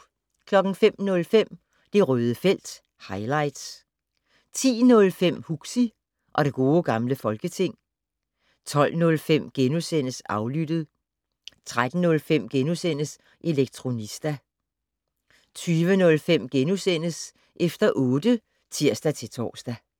05:05: Det Røde felt - highlights 10:05: Huxi og det gode gamle folketing 12:05: Aflyttet * 13:05: Elektronista * 20:05: Efter otte *(tir-tor)